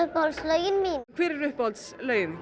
uppáhalds lögin mín hver eru uppáhalds lögin